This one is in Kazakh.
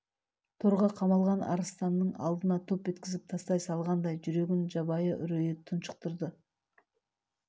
торға қамалған арыстанның алдына топ еткізіп тастай салғандай жүрегін жабайы үрейі тұншықтырды